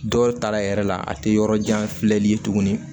Dɔw ta yɛrɛ la a tɛ yɔrɔ jan filɛli ye tuguni